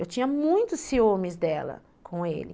Eu tinha muitos ciúmes dela com ele.